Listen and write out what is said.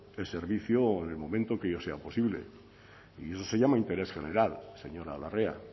el servicio o en el momento que ello sea posible y eso se llama interés general señora larrea